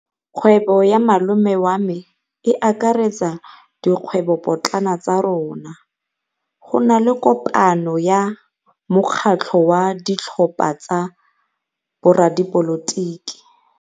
Kgwêbô ya malome wa me e akaretsa dikgwêbôpotlana tsa rona. Go na le kopanô ya mokgatlhô wa ditlhopha tsa boradipolotiki.